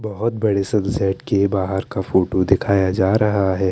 बोहोत बड़े सनसेट के बहार के फोटो दिखाया जा रहा है।